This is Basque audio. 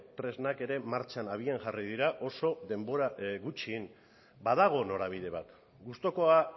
tresnak ere martxan abian jarri dira oso denbora gutxian badago norabide bat gustukoa